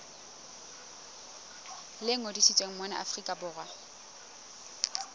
le ngodisitsweng mona afrika borwa